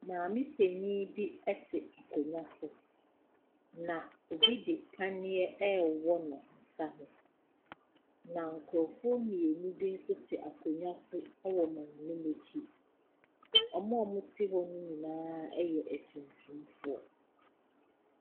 Maame panyin bi te akonnwa so na obi di paneɛ ɛwɔ no nsa wɔn na nkrɔfoɔ mmienu bi nso te akonnwa so wɔ maame no akyi ɔmoa wɔn te hɔ nyinaa yɛ atuntumfoɔ.